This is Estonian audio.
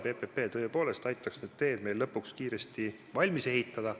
PPP tõepoolest aitaks meil need teed lõpuks kiiresti valmis ehitada.